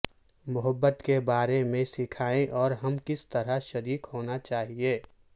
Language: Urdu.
محبت کے بارے میں سکھائیں اور ہم کس طرح شریک ہونا چاہئے